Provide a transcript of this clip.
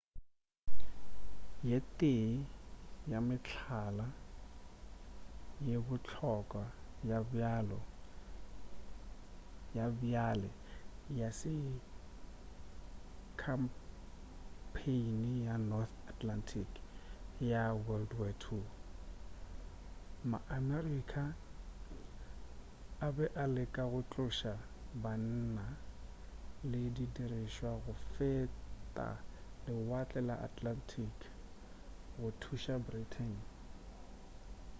ye tee ya mehlala ye bohlokwa ya bjale ya se ke khampheini ya north atlantic ya wwii ma-america a be a leka go tloša banna le didirišwa go feta lewatle la atlantic go thuša britain